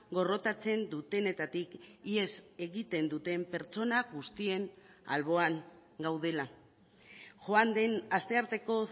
gorrotatzen dutenetatik ihes egiten duten pertsona guztien alboan gaudela joan den astearteko